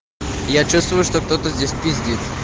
я чувствую что кто-то здесь пиздит